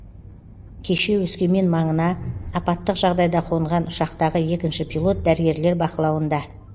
кеше өскемен маңына апаттық жағдайда қонған ұшақтағы екінші пилот дәрігерлер бақылауында